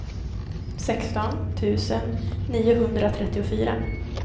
sexton tusen niohundratrettiofyra